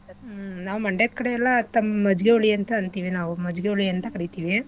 ಹ್ಮ್ ನಾವ್ ಮಂಡ್ಯದ್ ಕಡೆ ಎಲ್ಲಾ ತಂ~ ಮಜ್ಜಿಗೆ ಹುಳಿ ಅಂತ ಅಂತಿವಿ ನಾವೂ ಮಜ್ಜಿಗೆ ಹುಳಿ ಅಂತ ಕರಿತಿವಿ.